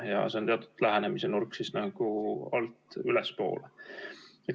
Ja see on teatud lähenemisnurk nagu alt ülespoole.